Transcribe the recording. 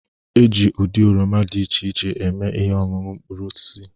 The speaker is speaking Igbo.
E ji ụdị oroma dị iche iche eme ihe ọñuñu mkpụrụosisi